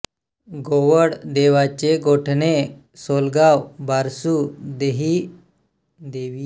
गोवळ देवाचेगोठणे सोलगाव बारसू देवीहसोळ या गावांच्या या सड्यावर ही कातळ खोदशिल्पे आहेत